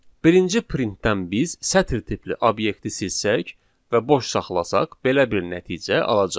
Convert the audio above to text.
Birinci printdən biz sətir tipli obyekti silsək və boş saxlasaq belə bir nəticə alacağıq.